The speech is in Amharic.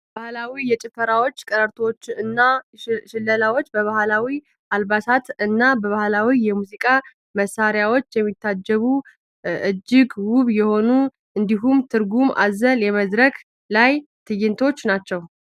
ባህላዊ ጭፈራዎች ፣ቀረርቶዎች እና ሽለላዎች በባህላዊ አልባሳት እና በባህላዊ የሙዚቃ መሳሪያዎች የሚታጀቡ እጅግ ውብ የሆኑ እንዲሁም ትርጉም አዘል የመድረክ ላይ ትይንቶች ናቸው።